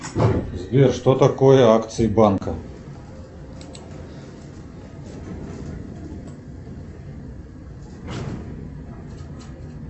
сбер что такое акции банка